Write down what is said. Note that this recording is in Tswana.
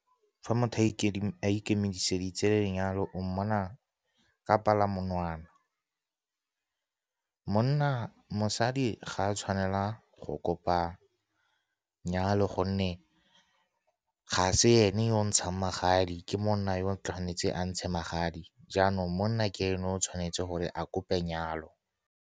Fa motho a ikemiseditse lenyalo, o mmona ka palamonwana. Mosadi ga a tshwanela go kopa nyalo gonne ga se ene yo o ntshang magadi. Ke monna yo o tshwanetseng a ntshe magadi. Jaanong, monna ke ene o tshwanetseng gore a kope nyalo.